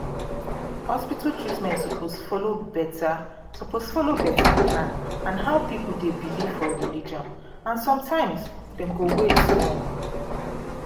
hospital treatment suppose follow better suppose follow better plan and how people dey believe for religion and sometimes dem go wait small